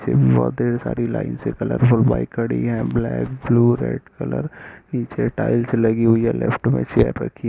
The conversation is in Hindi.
यहाँ ढेर सारी लाइन से कलरफुल बाइक खड़ी है ब्लैक ब्लू रेड कलर पीछे टाइल्स लगी हुई है। लेफ्ट में चेयर रखी --